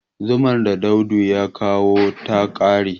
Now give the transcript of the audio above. zumar da Audu ya kawo ta kare